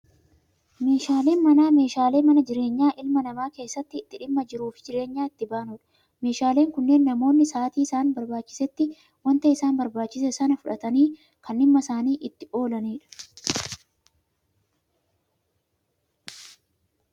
Meeshaaleen manaa, meeshaalee mana jireenyaa ilma namaa keessatti, itti dhimma jiruu fi jireenya itti baanudha. Meeshaaleen kunneen namoonni Saatii isaan barbaachisetti, waanta isaan barbaachise sanaaf fuudhatanii kan dhimma isaanii itti oolanidha.